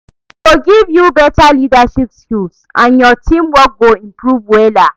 E go give yu beta leadership skill and yur teamwork go improve wella